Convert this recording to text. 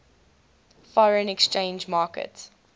foreign exchange market